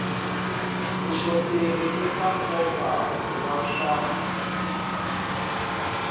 vuxoperi eka nkoka wa swa